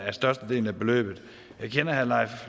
er størstedelen af beløbet jeg kender herre leif